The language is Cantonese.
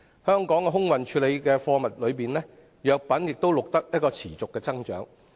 香港空運處理的貨物中，藥品錄得持續增長。